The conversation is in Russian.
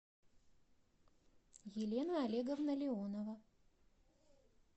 елена олеговна леонова